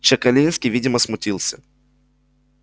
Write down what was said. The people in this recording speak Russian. чекалинский видимо смутился